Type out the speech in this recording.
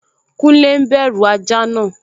Kúnlé n bẹ̀rù ajá náà